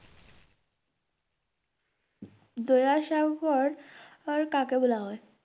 দয়া সাগর কাকে বলা হয়?